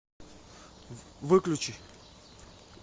выключи